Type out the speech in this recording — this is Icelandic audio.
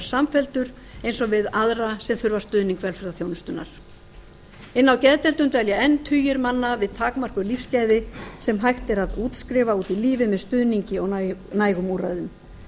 samfelldur eins og við aðra sem þurfa stuðning velferðarþjónustunnar inni á geðdeildum dvelja enn tugir manna við takmörkuð lífsgæði sem hægt er að útskrifa út í lífið með stuðningi og nægum úrræðum